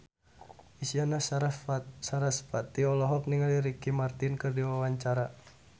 Isyana Sarasvati olohok ningali Ricky Martin keur diwawancara